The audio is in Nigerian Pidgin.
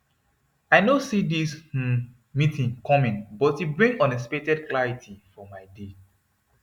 i no see this um meeting coming but e bring unexpected clarity for my day